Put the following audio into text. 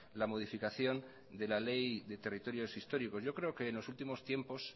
la modificación de la ley de territorios históricos yo creo que en los últimos tiempos